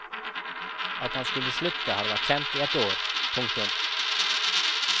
At han skulle slutte har vært kjent i ett år. punktum